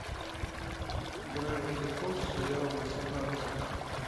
гравити фолз сериал восемнадцать